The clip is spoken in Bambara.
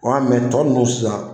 Ɔ tɔ nunnu sisan.